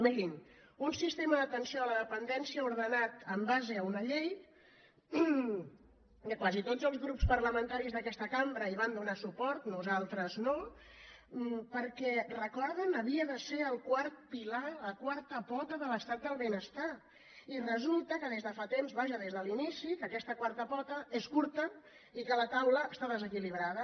mirin un sistema d’atenció a la dependència ordenat amb base en una llei que quasi tots els grups parlamentaris d’aquesta cambra hi van donar suport nosaltres no perquè recorden havia de ser el quart pilar la quarta pota de l’estat del benestar i resulta que des de fa temps vaja des de l’inici que aquesta quarta pota és curta i que la taula està desequilibrada